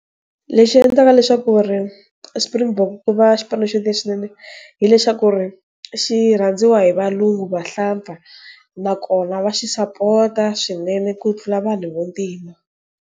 Lexi endlaka leswaku ku ri Spring Bok ku va xipano xa leswinene hileswaku xi rhandziwa hi valungu, vahlampfa, nakona va xi sapota ku tlula vanhu vantima.